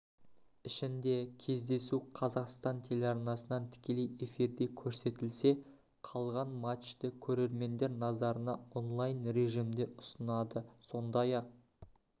ішінде кездесу қазақстан телеарнасынан тікелей эфирде көрсетілсе қалған матчты көрермендер назарына онлайн режімде ұсынады сондай-ақ